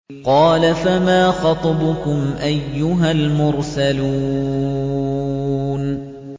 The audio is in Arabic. ۞ قَالَ فَمَا خَطْبُكُمْ أَيُّهَا الْمُرْسَلُونَ